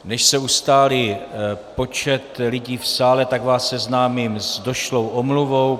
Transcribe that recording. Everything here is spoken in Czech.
Než se ustálí počet lidí v sále, tak vás seznámím s došlou omluvou.